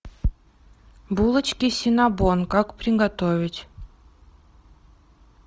булочки синнабон как приготовить